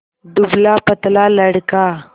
दुबलापतला लड़का